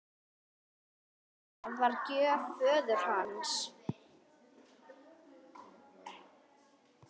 Það var gjöf föður hans.